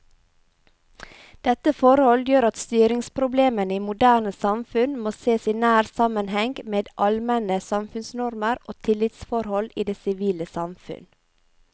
Dette forhold gjør at styringsproblemene i moderne samfunn må sees i nær sammenheng med allmenne samfunnsnormer og tillitsforhold i det sivile samfunn.